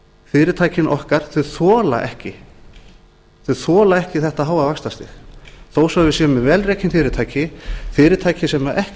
fyrirtækin okkar þola ekki þetta háa vaxtastig þó svo við séum með vel rekin fyrirtæki fyrirtæki sem ekki